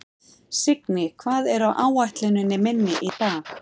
Signý, hvað er á áætluninni minni í dag?